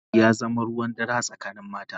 Munafunci ya zama ruwan dare a tsakanin mata.